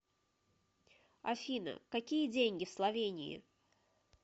афина какие деньги в словении